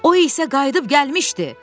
O isə qayıdıb gəlmişdi!